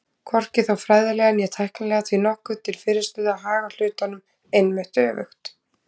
Hvorki er þó fræðilega né tæknilega því nokkuð til fyrirstöðu að haga hlutunum einmitt öfugt.